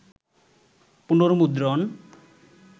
পুনর্মুদ্রণ